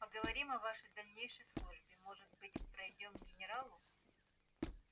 поговорим о вашей дальнейшей службе может быть пройдём генералу